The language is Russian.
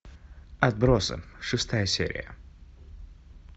отбросы шестая серия